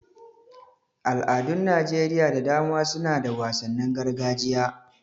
Al'adun Najeriya da dama suna da wasannin gargajiya.